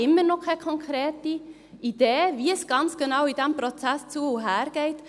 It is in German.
Ich habe immer noch keine konkrete Idee, wie es in diesem Prozess ganz genau zu- und hergeht.